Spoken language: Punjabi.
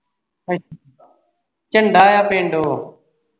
ਝੰਡਾ ਆ ਪਿੰਡ ਉਹ